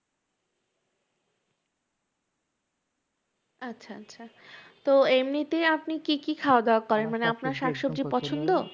আচ্ছা আচ্ছা, তো এমনিতে আপনি কি কি খাওয়াদাওয়া করেন? মানে আপনার শাকসবজি পছন্দ?